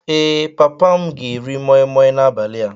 Ee, papa m ga-eri moi Moi n'abalị a